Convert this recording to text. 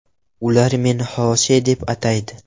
Ular meni Xose deb ataydi.